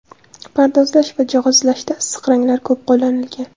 Pardozlash va jihozlashda issiq ranglar ko‘p qo‘llanilgan.